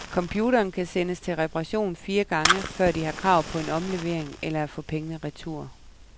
Computeren kan sendes til reparation fire gange, før de har krav på en omlevering eller at få pengene retur.